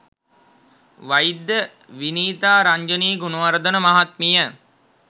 වෛද්‍ය විනීතා රංජනී ගුණවර්ධන මහත්මිය